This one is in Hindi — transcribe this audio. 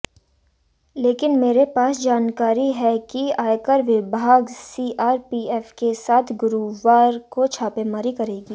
लेकिन मेरे पास जानकारी है कि आयकर विभाग सीआरपीएफ के साथ गुरुवार को छापेमारी करेगी